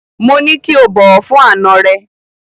Mo ní kí o bọ̀wọ̀ fún àna rẹ.